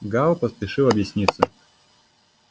гаал поспешил объясниться